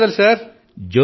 ధన్యవాదాలు సర్